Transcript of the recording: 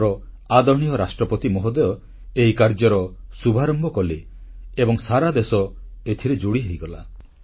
ଆମର ଆଦରଣୀୟ ରାଷ୍ଟ୍ରପତି ମହୋଦୟ ଏହି କାର୍ଯ୍ୟର ଶୁଭାରମ୍ଭ କଲେ ଏବଂ ସାରା ଦେଶ ଏଥିରେ ଯୋଡ଼ି ହୋଇଗଲା